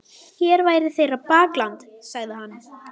Hér væri þeirra bakland, sagði hann.